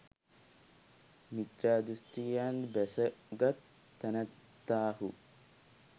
මිත්‍යා දෘෂ්ටියෙන් බැසගත් තැනැත්තාහු